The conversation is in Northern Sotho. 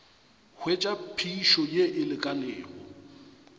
hwetša phišo ye e lekanego